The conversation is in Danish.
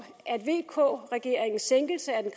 at vk regeringens sænkelse af den